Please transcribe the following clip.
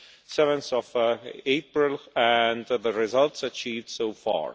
7 April and the results achieved so far.